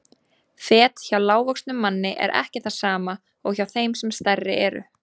Fet hjá lágvöxnum manni er ekki það sama og hjá þeim sem stærri eru.